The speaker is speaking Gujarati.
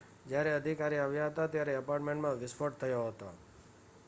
જ્યારે અધિકારી આવ્યા હતા ત્યારે એપાર્ટમેન્ટમાં વિસ્ફોટ થયો હતો